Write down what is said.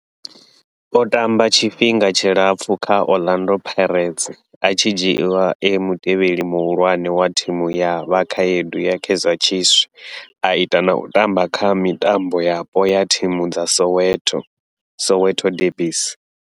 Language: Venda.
O tamba tshifhinga tshilapfhu kha Orlando Pirates, a tshi dzhiiwa e mutevheli muhulwane wa thimu ya vhakhaedu ya Kaizer Chiefs, a ita na u tamba kha mitambo yapo ya thimu dza Soweto, Soweto derbies.